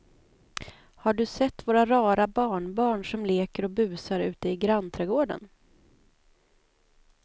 Har du sett våra rara barnbarn som leker och busar ute i grannträdgården!